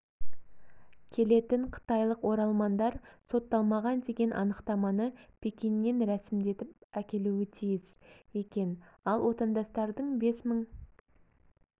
келетін қытайлық оралмандар сотталмаған деген анықтаманы пекиннен рәсімдетіп әкелуі тиіс екен ал отандастардың бес мың